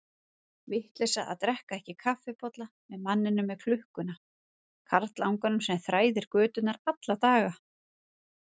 Vitleysa að drekka ekki kaffibolla með manninum með klukkuna, karlanganum sem þræðir göturnar alla daga.